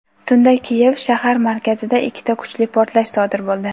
Tunda Kiyev shahar markazida ikkita kuchli portlash sodir bo‘ldi.